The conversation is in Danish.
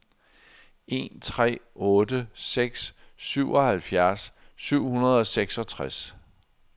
en tre otte seks syvoghalvfjerds syv hundrede og seksogtres